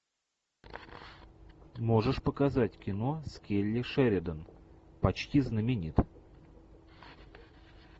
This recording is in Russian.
можешь показать кино с келли шеридан почти знаменит